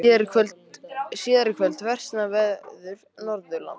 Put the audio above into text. Síðar í kvöld versnar veður Norðanlands